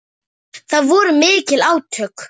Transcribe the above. Það voru mikil átök.